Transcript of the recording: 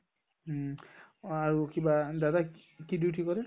আৰু কিবা দাদাই কি duty কৰে ?